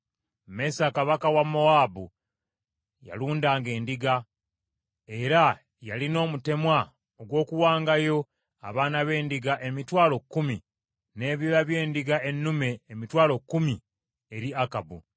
Mesa Kabaka wa Mowaabu yalundanga endiga, era yalina omutemwa ogw’okuwangayo abaana b’endiga emitwalo kkumi, n’ebyoya by’endiga ennume emitwalo kkumi eri Akabu.